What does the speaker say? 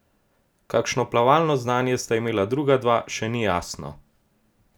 Kakšno plavalno znanje sta imela druga dva, še ni jasno.